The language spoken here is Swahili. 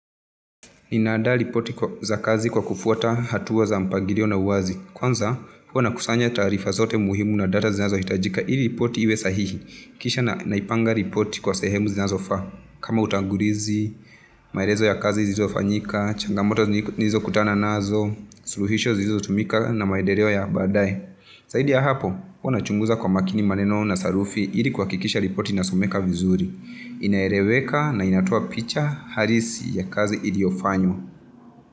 Nina andaa ripoti za kazi kwa kufuata hatua za mpangilio na uwazi. Kwanza, huwa nakusanya taarifa zote muhimu na data zinazohitajika ili ripoti iwe sahihi. Kisha naipanga ripoti kwa sehemu zinazofaa. Kama utangulizi, maelezo ya kazi zilizofanyika, changamoto nilizokutana nazo, suluhisho zilizotumika na maendeleo ya baadaye. Zaidi ya hapo, huwa nachunguza kwa makini maneno na sarufi ili kuhakikisha ripoti inasomeka vizuri. Inaeleweka na inatoa picha halisi ya kazi iliyofanywa.